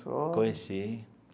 Sogra. Conheci.